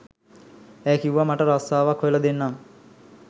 ඇය කිව්වා මට රස්සාවක් හොයලා දෙන්නම්